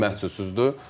Məhdudsuzdur.